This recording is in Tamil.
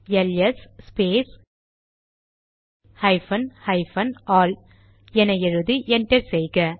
LS space hyphen hyphen all என எழுதி என்டர் செய்க